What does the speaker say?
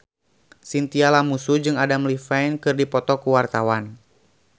Chintya Lamusu jeung Adam Levine keur dipoto ku wartawan